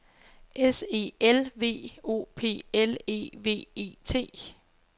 S E L V O P L E V E T